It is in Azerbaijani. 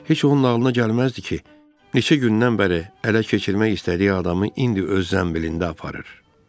Heç onun ağlına gəlməzdi ki, neçə gündən bəri ələ keçirmək istədiyi adamı indi öz zənbilində aparır.